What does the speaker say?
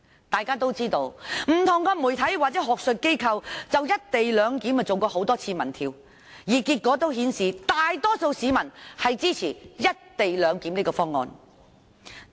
大家都知道，不同媒體或學術機構曾就"一地兩檢"進行多次民調，結果顯示大多數市民支持這個方案。